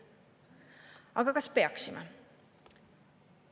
Aga kas peaksime?